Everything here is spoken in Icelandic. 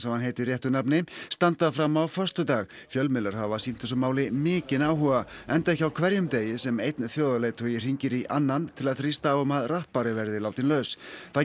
og hann heitir réttu nafni standa fram á föstudag fjölmiðlar hafa sýnt þessu máli mikinn áhuga enda ekki á hverjum degi sem einn þjóðarleiðtogi hringir í annan til að þrýsta á um að rappari verði látinn laus það